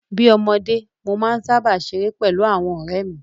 Bí ọmọdé, mo máa ń sáábà ṣeré pẹ̀lú àwọn ọ̀rẹ́ mi